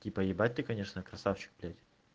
типа ебать ты конечно красавчик блядь